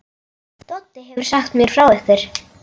Doddi hefur sagt mér frá ykkur.